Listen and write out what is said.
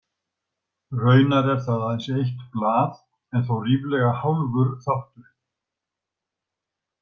Raunar er það aðeins eitt blað en þó ríflega hálfur þátturinn.